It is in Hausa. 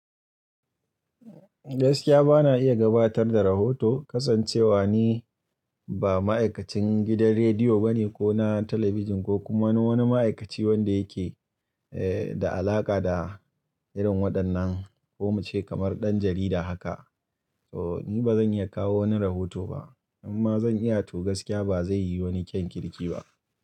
Gaskiya ba na iya gabatar da rahoto kasancewa ni ba ma'aikacin gidan rediyo bane ko na talabijin ko kuma wani wani ma'aikaci wanda yake eh da alaƙa da irin waɗannan ko muce kamar ɗan jarida haka. So ni ba zan iya kawo wani rahoto ba amma zan iya to gaskiya ba zai yi wani kyan kirki ba.